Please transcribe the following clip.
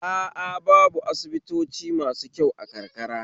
A a babu asibitoci masu kyau a karkara